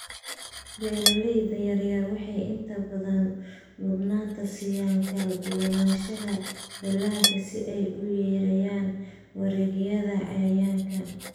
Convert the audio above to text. Beeralayda yaryar waxay inta badan mudnaanta siiyaan kala duwanaanshaha dalagga si ay u yareeyaan weerarada cayayaanka.